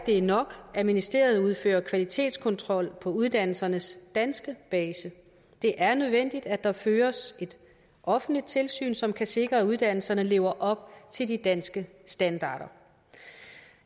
er nok at ministeriet udfører kvalitetskontrol på uddannelsernes danske base det er nødvendigt at der føres et offentligt tilsyn som kan sikre at uddannelserne lever op til de danske standarder